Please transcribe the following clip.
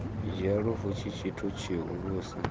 dzhia lufu tshi tshithu tshihulusa